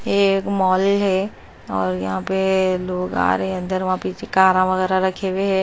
ये एक मॉल है और यहाँ पे लोग आ रहे हैं अंदर वहाँ पीछे कारा वगैरह रखे हुए हैं।